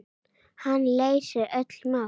Hann leysir öll mál.